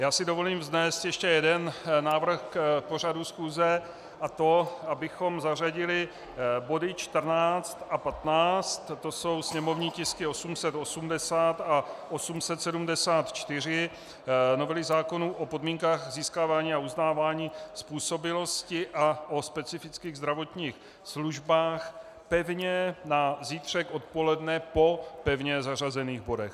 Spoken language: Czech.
Já si dovolím vznést ještě jeden návrh k pořadu schůze, a to abychom zařadili body 14 a 15, to jsou sněmovní tisky 880 a 874, novely zákonů o podmínkách získávání a uznávání způsobilosti a o specifických zdravotních službách, pevně na zítřek odpoledne po pevně zařazených bodech.